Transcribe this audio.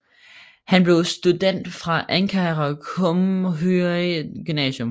Han blev student fra Ankara Cumhuriyet Gymnasium